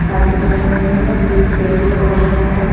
Parking बनी हुई है एक पेड़ लगा हुआ है।